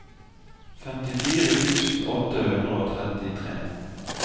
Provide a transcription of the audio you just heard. femtifire tusen åtte hundre og trettitre